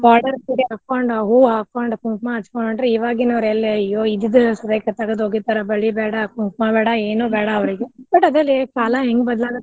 Border ಸೀರೆ ಹಾಕೊಂಡ್ ಹೂವ ಹಾಕೊಂಡ್ ಕುಂಕ್ಮಾ ಹಚ್ಚಕೊಂಡ್ ಹೊಂಟ್ರೆ ಈವಾಗಿನಾವ್ರೆಲ್ಲೆ ಅಯ್ಯೋ ಇದ್ದಿದ್ದ ತಗದ್ ಒಗೀತಾರ ಬಳಿ ಬ್ಯಾಡಾ ಕುಂಕ್ಮಾ ಬ್ಯಾಡಾ ಏನು ಬ್ಯಾಡಾ ಅವ್ರಿಗೆ but ಅದರಿ ಕಾಲಾ ಹೆಂಗ ಬದಲಾಗತ್ತ.